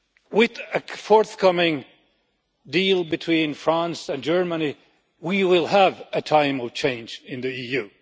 With a forthcoming deal between France and Germany, we will have a time of change in the EU.